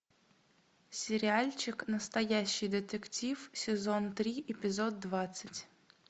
сериальчик настоящий детектив сезон три эпизод двадцать